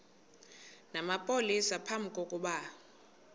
namapolisa phambi kokuba